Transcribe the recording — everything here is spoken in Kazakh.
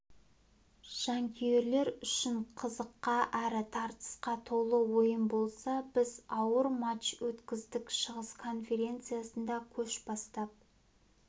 жанкүйерлер үшін қызыққа әрі тартысқа толы ойын болса біз ауыр матч өткіздік шығыс конференциясында көш бастап